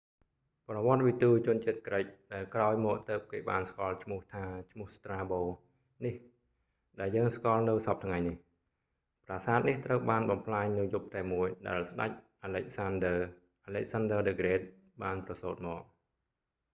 ប្រវត្តិវិទូជនជាតិក្រិក ដែលក្រោយមកទើបគេបានស្គាល់ឈ្មោះថា ឈ្មោះស្រ្តាបូ strabo នេះ ដែលយើងស្គាល់នៅសព្វថ្ងៃនេះ ប្រាសាទនេះត្រូវបានបំផ្លាញនៅយប់តែមួយដែលស្តេច អាឡិចសានឌើ alexander the great បានប្រសូត្រមក